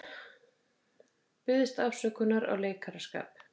Biðst afsökunar á leikaraskap